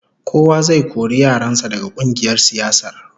Kowa zai kori yaran sa daga kungiyar siyasar